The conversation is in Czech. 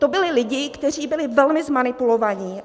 To byli lidi, kteří byli velmi zmanipulovaní.